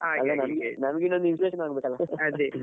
ಅಲ್ಲ ನಮ್ಗೆ ಇನ್ನು ಆಗ್ಬೇಕಲ್ಲ .